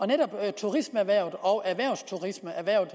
netop turismeerhvervet og erhvervsturismeerhvervet